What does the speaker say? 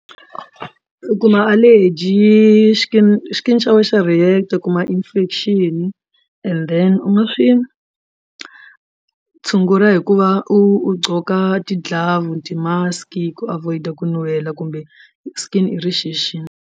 U kuma allergy xa wena xa react u kuma infection and then u nga swi tshungula hi ku va u gqoka ti glove ti mask ku avoid ku nuhela kumbe skin irritation.